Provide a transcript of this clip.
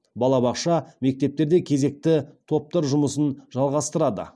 балабақша мектептерде кезекті топтар жұмысын жалғастырады